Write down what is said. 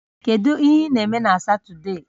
Kedu ihe ị na-eme Satọde a?